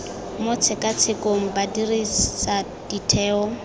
mo tshekatshekong ba dirisa ditheo